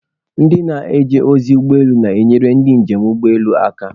Ndị na-eje ozi ụgbọ elu na-enyere ndị njem n'ụgbọelu aka